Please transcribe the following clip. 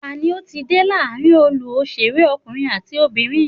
Tani ó ti dé láàrin olú òṣèré ọkùnrin àti obìnrin?